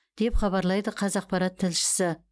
деп хабарлайды қазақпарат тілшісі